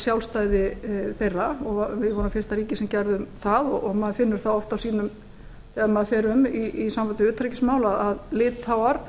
sjálfstæði þeirra og við vorum fyrsta ríkið sem gerðum það og maður finnur það oft þegar maður fer um í sambandi við utanríkismál að litháar